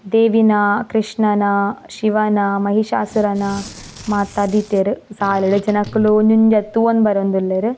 ದೇವಿನ ಕ್ರಷ್ಣನ ಶಿವನ ಮಹಿಷಾಸುರನ ಮಾತ ದೀತೆರ್ ಸಾಲ್ ಡ್ ಜನಕುಲು ಒಂಜೊಂಜೆ ಅದ್ ತೂವೊಂದ್ ಬರೊಂದುಲ್ಲೆರ್.